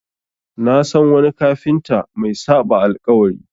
Na san wani kafinta mai saɓa alƙawari.